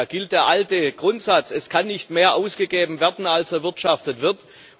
Da gilt der alte Grundsatz Es kann nicht mehr ausgegeben werden, als erwirtschaftet wird.